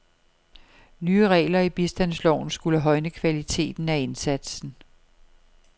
Nye regler i bistandsloven skulle højne kvaliteten af indsatsen.